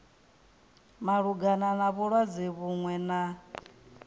malugana na vhulwadze vhuṅwe na